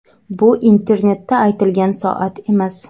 Bu internetda aytilgan soat emas.